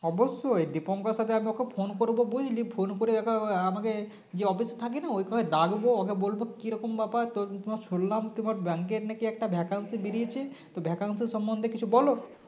অবশ্যই Dipankar এর সাথে আমি ওকে phone করবো বুঝলি phone করে আমাকে যে office থাকিনা ওইখানে ডাকবো ওকে বলবো কিরকম ব্যাপার তোর শুনলাম তোমার bank এর নাকি একটা vacancy বেরিয়েছে তো vacancy সমন্ধে কিছু বলো